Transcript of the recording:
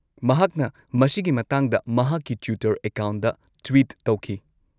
-ꯃꯍꯥꯛꯅ ꯃꯁꯤꯒꯤ ꯃꯇꯥꯡꯗ ꯃꯍꯥꯛꯀꯤ ꯇ꯭ꯋꯤꯇꯔ ꯑꯦꯀꯥꯎꯟꯗ ꯇ꯭ꯋꯤꯠ ꯇꯧꯈꯤ ꯫